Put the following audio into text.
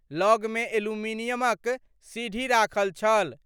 लग मे एल्युमिनियमक सीढ़ी राखल छल।